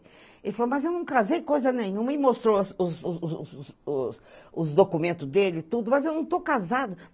Ele falou, mas eu não casei em coisa nenhuma e mostrou os os os os os os documentos dele e tudo, mas eu não estou casado.